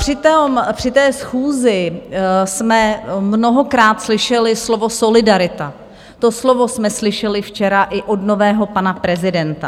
Při té schůzi jsme mnohokrát slyšeli slovo solidarita, to slovo jsme slyšeli včera i od nového pana prezidenta.